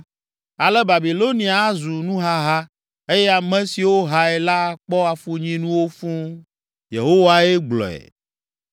Ale Babilonia azu nuhaha eye ame siwo hae la akpɔ afunyinuwo fũu.” Yehowae gblɔe.